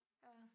Ja